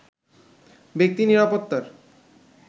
ব্যক্তি নিরাপত্তার